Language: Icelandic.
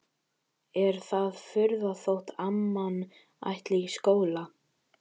Er það furða þótt amman ætli í skóla?